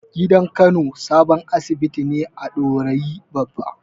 Gidan Kano sabon asibiti ne a Dorayi Babba.